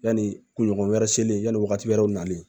Yanni kunɲɔgɔn wɛrɛ selen yanni wagati wɛrɛw nalen